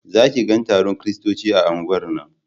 Za ki ga taron kiristoci a unguwar nan